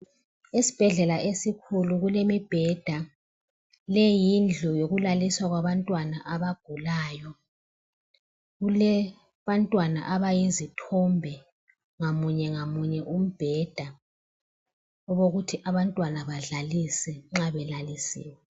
Esibhedlela esikhulu kulemibheda. Le yindlu okulaliswa abantwana. Kulabantwana abayizithombe ngamunye ngamunye kombheda okokuthi abantwana badlalise nxa belalisiwe